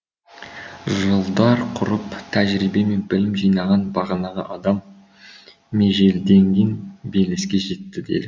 жылдар құртып тәжірибе мен білім жинаған бағанағы адам межелденген белеске жетті делік